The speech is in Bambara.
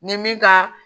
Ni min ka